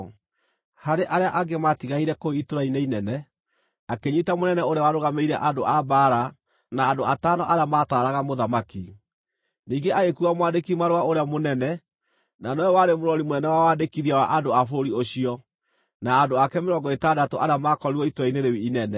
Harĩ arĩa angĩ maatigaire kũu itũũra-inĩ inene, akĩnyiita mũnene ũrĩa warũgamĩrĩire andũ a mbaara, na andũ atano arĩa mataaraga mũthamaki. Ningĩ agĩkuua mwandĩki-marũa ũrĩa mũnene na nowe warĩ mũrori mũnene wa wandĩkithia wa andũ a bũrũri ũcio, na andũ ake mĩrongo ĩtandatũ arĩa maakorirwo itũũra-inĩ rĩu inene.